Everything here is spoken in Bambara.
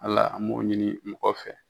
Ala m'o ɲini mɔgɔ fɛ